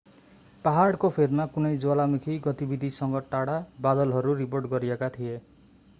पहाडको फेदमा कुनै ज्वालामुखी गतिविधिसँग गाढा बादलहरू रिपोर्ट गरिएका थिए